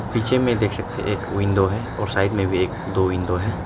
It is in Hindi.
पीछे में देख सकते एक विंडो है और साइड में भी एक दो विंडो है।